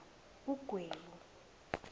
ugwebu